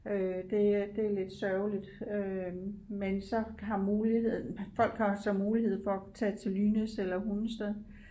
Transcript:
Øh det er det er lidt sørgeligt øh men så har muligheden folk har så mulighed for at tage til Lynæs eller Hundested